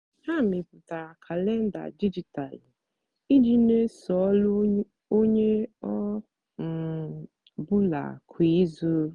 ha mepụtara kalenda dijitalụ iji n'eso ọlụ onye ọ um bụla kwa izu.